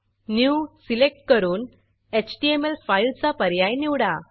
new new select करून HTML फाईलचा पर्याय निवडा